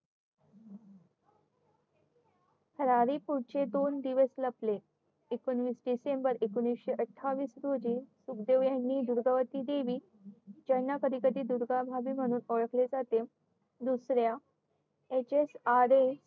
पुढचे दोन दिवस लपले एकवीस डिसेंबर एकोणीशे आठवीस रोजी सुखदेव यांनी दुर्गा ची देवी यांना कधी कधी दुर्गा भाभी म्हणून ओळखले जाते दुसर्या HSRA